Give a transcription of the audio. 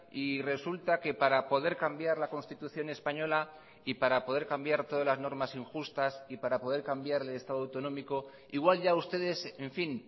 y resulta que para poder cambiar la constitución española y para poder cambiar todas las normas injustas y para poder cambiar el estado autonómico igual ya ustedes en fin